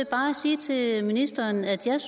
bare sige til ministeren at jeg